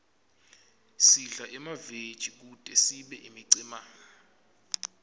sidle emaveji kute sibe imicemane